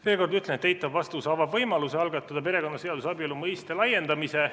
Veel kord ütlen, et eitav vastus avab võimaluse algatada perekonnaseaduses abielu mõiste laiendamise.